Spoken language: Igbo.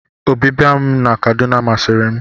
Ọbịbịa m na Kaduna masịri m.